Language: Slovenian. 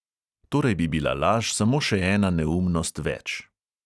Torej bi bila laž samo še ena neumnost več.